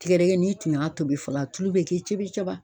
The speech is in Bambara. Tigɛdɛgɛ n'i tun y'a tobi fɔlɔ a tulu bɛ kɛ cobi cɔba.